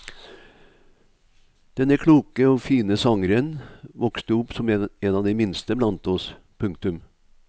Denne kloke og fine sangeren vokste opp som en av de minste blant oss. punktum